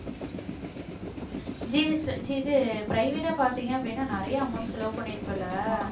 GH ல இது private ஆ பார்த்தீங்க அப்படின்னா நிறைய amount செலவு பண்ணியிருப்பல்ல